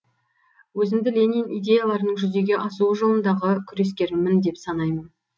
өзімді ленин идеяларының жүзеге асуы жолындағы күрескермін деп санаймын